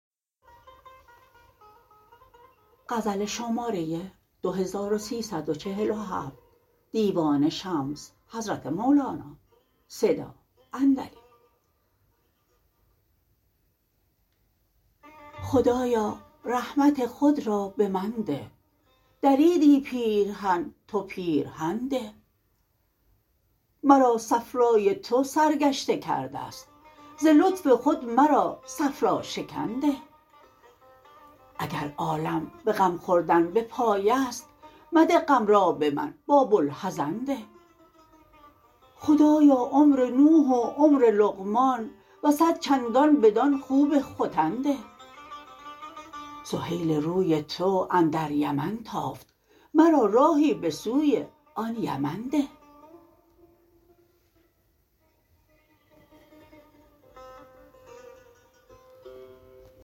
خدایا رحمت خود را به من ده دریدی پیرهن تو پیرهن ده مرا صفرای تو سرگشته کرده ست ز لطف خود مرا صفراشکن ده اگر عالم به غم خوردن به پای است مده غم را به من با بوالحزن ده خدایا عمر نوح و عمر لقمان و صد چندان بدان خوب ختن ده سهیل روی تو اندر یمن تافت مرا راهی به سوی آن یمن ده